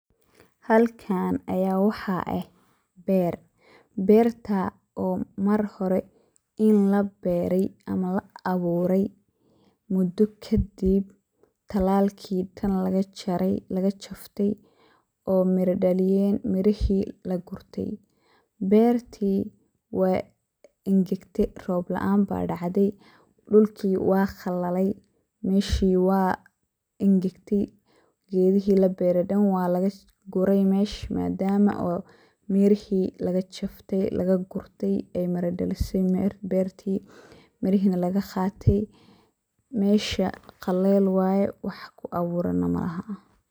Halkan aya waxa eh beer, berta marhore inii laberaya ama laaburay mudo kadib talaalki oo dan lagajafay oo miro dhaliyen mirihi lagagurte. Berti wey angagte oo roob laan aya dacde, dhulki wa qalaley meshi wey angagtay gedihi labere oo dan walaguray mesha madama mirihi lagagurtay oo ey miro dhalisey berti mirihina lgaqatay meesha qaleel waye wax kuaburan neh malaha.